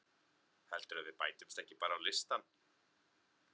Heldurðu að við bætumst ekki bara á listann?